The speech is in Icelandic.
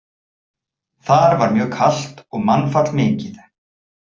Þar var mjög kalt og mannfall mikið.